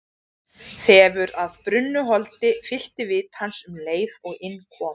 Þefur af brunnu holdi fyllti vit hans um leið og inn kom.